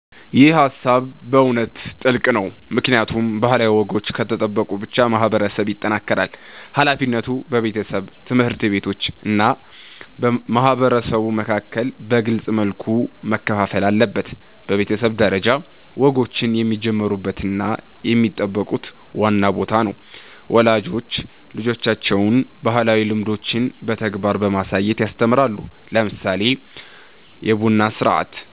ይህ ሃሳብ በእውነት ጥልቅ ነው፣ ምክንያቱም ባህላዊ ወጎች ከተጠበቁ ብቻ ማህበረሰብ ይጠናከራል። ሃላፊነቱ በቤተሰብ፣ ትምህርት ቤቶች እና ማህበረሰብ መካከል በግልጽ መልኩ መከፋፈል አለበት። በቤተሰብ ደረጃ፣ ወጎችን የሚጀምሩት እና የሚጠብቁት ዋና ቦታ ነው። ወላጆች ልጆቻቸውን ባህላዊ ልምዶችን በተግባር በማሳየት ያስተምራሉ፣ ለምሳሌ በቡና ሥርዓት፣